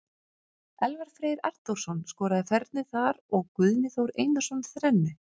Elvar Freyr Arnþórsson skoraði fernu þar og Guðni Þór Einarsson þrennu.